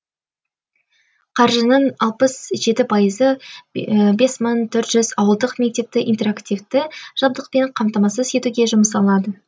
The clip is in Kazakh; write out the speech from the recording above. қаржының алпыс жеті пайызы бес мың төрт жүз ауылдық мектепті интерактивті жабдықпен қамтамасыз етуге жұмсалады